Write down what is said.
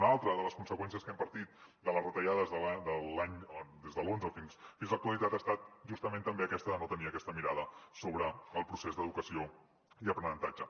una altra de les conseqüències que hem patit de les retallades des de l’onze fins a l’actualitat ha estat justament també aquesta de no tenir aquesta mirada sobre el procés d’educació i aprenentatge